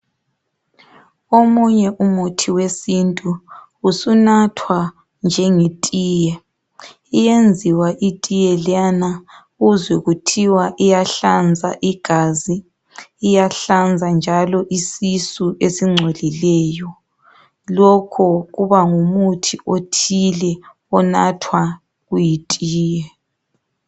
Omunye umuthi wesintu usunathwa njengetiye. Uyenziwa itiye leyana uzwe kuthiwa iyahlanza igazi, iyahlanza njalo isisu esingcolileyo. Lokho kuba ngumuthi othile onathwa kuyitiye.